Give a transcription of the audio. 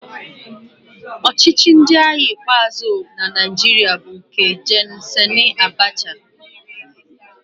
Ọchịchị ndị agha ikpeazụ na Naịjirịa bụ nke Gen Sani Abacha.